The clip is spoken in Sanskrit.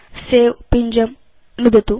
सवे पिञ्जं नुदतु